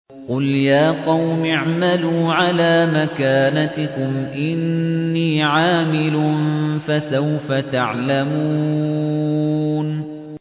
قُلْ يَا قَوْمِ اعْمَلُوا عَلَىٰ مَكَانَتِكُمْ إِنِّي عَامِلٌ ۖ فَسَوْفَ تَعْلَمُونَ